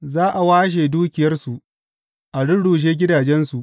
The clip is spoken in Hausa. Za a washe dukiyarsu, a rurrushe gidajensu.